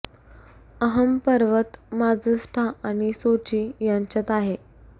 अहं पर्वत माझस्टा आणि सोची यांच्यात आहे